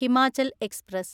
Himachal express